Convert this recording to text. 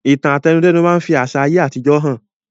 Ìtàn àtẹnudẹ́nu máa fi àsà ayé àtijó hàn